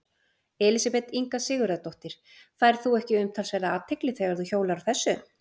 Elísabet Inga Sigurðardóttir: Færð þú ekki umtalsverða athygli þegar þú hjólar á þessu?